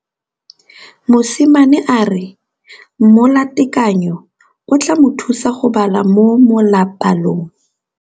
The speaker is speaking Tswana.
Mosimane a re molatekanyô o tla mo thusa go bala mo molapalong.